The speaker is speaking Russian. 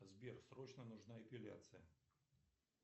сбер срочно нужна эпиляция